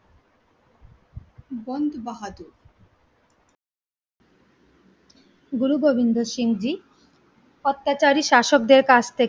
গুরু গোবিন্দ সিং জি, অত্যাচারী শাসকদের কাছ থেকে